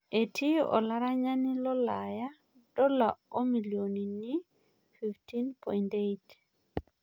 Etii olaranyani lolaya dola omilionini 15.8